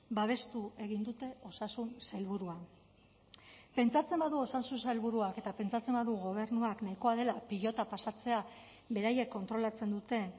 babestu egin dute osasun sailburua pentsatzen badu osasun sailburuak eta pentsatzen badu gobernuak nahikoa dela pilota pasatzea beraiek kontrolatzen duten